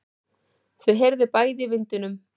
Þau heyrðu bæði í vindinum.